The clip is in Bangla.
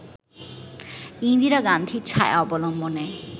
ইন্দিরা গান্ধীর ছায়া অবলম্বনে